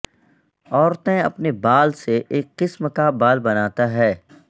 عورتیں اپنے بال سے ایک قسم کا بال بناتا ہے